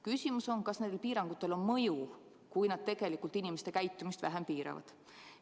Küsimus on, kas nendel piirangutel on mõju, kui nad tegelikult inimeste käitumist vähem piiravad.